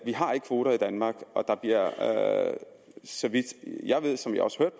vi har ikke kvoter i danmark og der bliver så vidt jeg ved og som jeg også